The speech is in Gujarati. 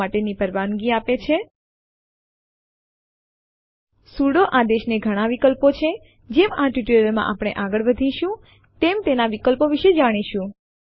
આપણી પાસે પહેલેથી ટેસ્ટ1 નામની ફાઈલ homeanirbanarc માં છે ટેસ્ટ1 માં શું છે તે જોવા માટે આપણે લખીશું કેટ ટેસ્ટ1 અને Enter દબાવો